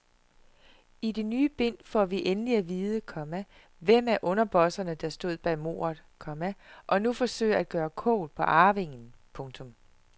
I det ny bind får vi endelig at vide, komma hvem af underbosserne der stod bag mordet, komma og nu forsøger at gøre kål på arvingen. punktum